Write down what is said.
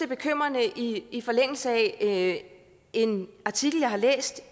bekymrende i forlængelse af en artikel jeg har læst